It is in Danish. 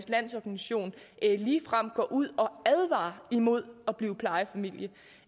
landsorganisation ligefrem går ud og advarer imod at blive plejefamilie